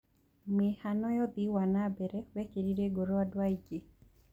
Mĩhano ya ũthii wa na mbere wekĩrire ngoro andũ aingĩ.